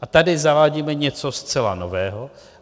A tady zavádíme něco zcela nového.